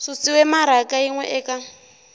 susiwe maraka yin we eka